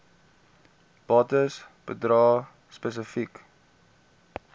bates bedrae spesifiek